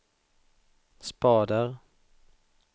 spader